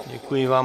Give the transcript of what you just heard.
Děkuji vám.